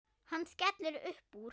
Hann skellir upp úr.